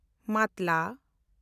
ᱢᱟᱛᱞᱟ